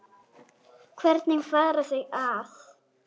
Hvernig fara þau að?